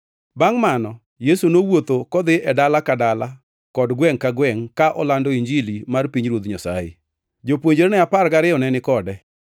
Bangʼ mano, Yesu nowuotho kodhi e dala ka dala kod gwengʼ ka gwengʼ ka olando Injili mar pinyruoth Nyasaye. Jopuonjrene apar gariyo ne ni kode,